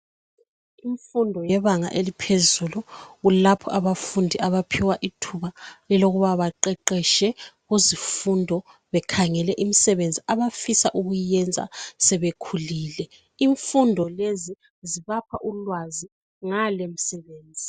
Imfundo yebanga eliphezulu kulapho abafundi abaphiwa ithuba elokuba beqeqetshe kuzifundo bekhangele imisebenzi abafisa ukuyenza sebekhulile , imfundo lezi zibapha ulwazi ngale misebenzi.